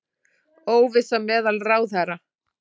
Óvissa meðal ráðherra